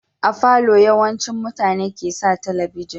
A falo yawancin mutane ke sa talabijin